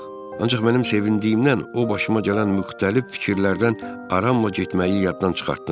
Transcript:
Ancaq mənim sevindiyimdən o başıma gələn müxtəlif fikirlərdən aramla getməyi yaddan çıxartdım.